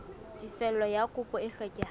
tefello ya kopo e hlokehang